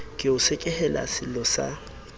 ke o sekehele sello sa